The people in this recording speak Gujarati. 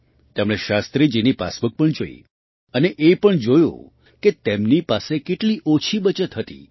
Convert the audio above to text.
તેમણે શાસ્ત્રીજીની પાસબુક પણ જોઈ અને એ પણ જોયું કે તેમની પાસે કેટલી ઓછી બચત હતી